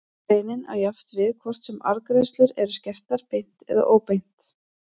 Greinin á jafnt við hvort sem arðgreiðslur eru skertar beint eða óbeint.